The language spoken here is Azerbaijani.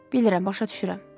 Bilirəm, başa düşürəm.